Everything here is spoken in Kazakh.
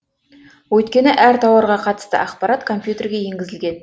өйткені әр тауарға қатысты ақпарат компьютерге енгізілген